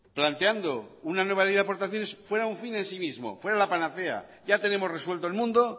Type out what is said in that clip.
planteando una nueva ley de aportaciones fuera un fin en sí mismo fuera la panacea ya tenemos resuelto el mundo